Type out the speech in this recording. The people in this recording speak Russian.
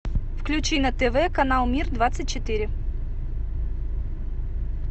включи на тв канал мир двадцать четыре